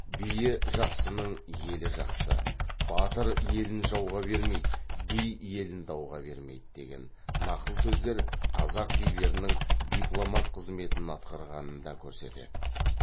биі жақсының елі жақсы батыр елін жауға бермейді би елін дауға бермейді деген нақыл сөздер қазақ билерінің дипломат қызметін атқарғанын да көрсетеді